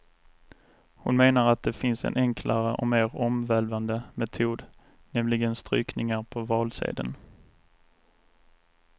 Hon menar att det finns en enklare och mer omvälvande metod, nämligen strykningar på valsedeln.